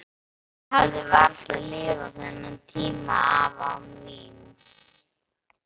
Ég hefði varla lifað þennan tíma af án víns.